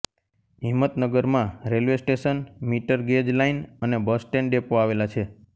હિંમતનગરમાં railway station metre gauge line અને bus stand depot આવેલા છે